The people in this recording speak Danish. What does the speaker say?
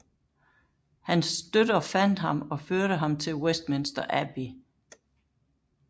Hans støtter fandt ham og førte ham til Westminster Abbey